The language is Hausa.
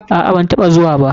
Aa, banataɓa zuwa ba.